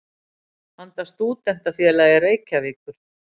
handa Stúdentafélagi Reykjavíkur.